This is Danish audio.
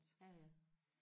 ja ja